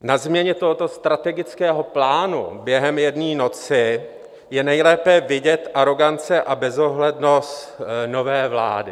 Na změně tohoto strategického plánu během jedné noci je nejlépe vidět arogance a bezohlednost nové vlády.